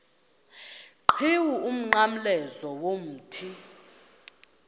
qhiwu umnqamlezo womthi